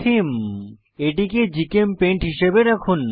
থেমে এটিকে জিচেমপেইন্ট হিসাবে রাখুন